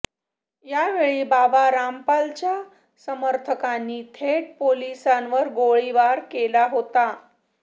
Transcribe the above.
यावेळी बाबा रामपालच्या समर्थकांनी थेट पोलिसांवरच गोळीबार केला होता